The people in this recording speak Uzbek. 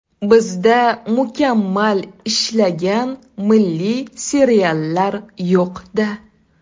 Bizda mukammal ishlagan milliy seriallar yo‘q-da.